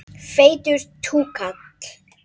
Feitur túkall.